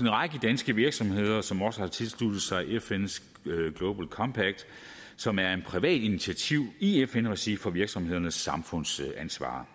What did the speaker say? en række danske virksomheder som også har tilsluttet sig fns global compact som er et privat initiativ i fn regi for virksomhedernes samfundsansvar